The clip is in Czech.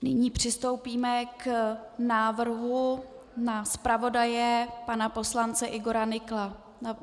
Nyní přistoupíme k návrhu na zpravodaje pana poslance Igora Nykla.